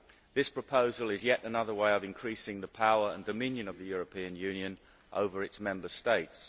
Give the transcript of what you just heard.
This proposal is yet another way of increasing the power and dominion of the European Union over its Member States.